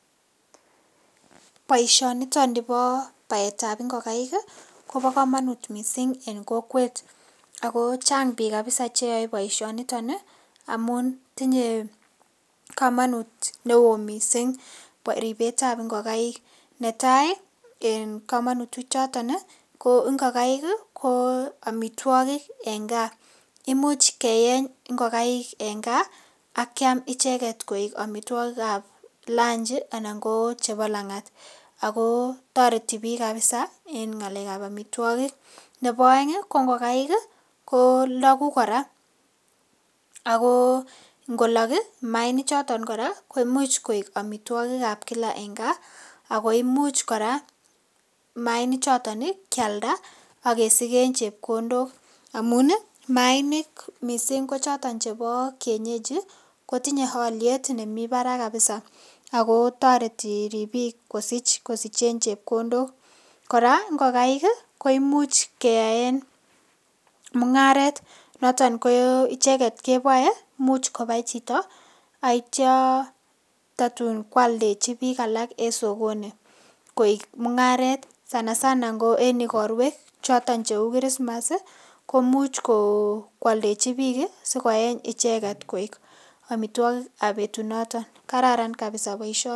Baishoniton Nebo baet ab ingogaik Koba kamanut mising en kokwet ako Chang bik cheyae baishoniton amun tinye kamanut mising ribet ab ingogaik netai en kamanutik choton ko ingogaik ko amitwagik en gaa imuch keyeny ingogenik en gaa akiam icheket en gaa ak amitwagik en la chi anan kochebi Langat akotareti bik kabisa en ngalek ab amitwagik Nebo aeng ko ingogaik kolagu koraa ako ingolok mayainik choton koraa koimuch Koik amitwagik ab kila en gaa akokimuch koraa mayainik choton Kiam koraa ak keyalda kesich chepkondok amun Manik mising ko chebo kienyeji kotinye alyet nemiten Barak kabisa akotareti ribik kosichen chepkondok koraa ngokaik koimuch keyaen mungaret noton ko ichegen kebae akumuch kobai Chito akityo tatun kwaldeji bik alak en sokoni koik mungaret ak sanasanakorwe cheu kirismas komuch kwaldechi bik koik amitwagik ab betut noton ako kararan kabisa baishoni